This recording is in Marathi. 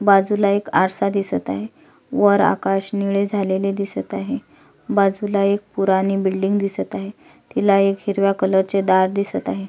बाजुला एक आरसा दिसत आहे वर आकाश निळे झालेले दिसत आहे बाजुला एक पुरानी बिल्डिंग दिसत आहे तिला एक हिरव्या कलरचे दार दिसत आहे.